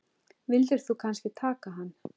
Vildir þú kannski taka hann?